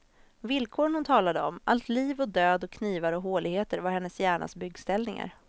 Villkoren hon talade om, allt liv och död och knivar och håligheter var hennes hjärnas byggställningar.